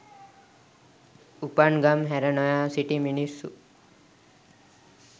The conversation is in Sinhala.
උපන් ගම් හැර නොයා සිටි මිනිස්සු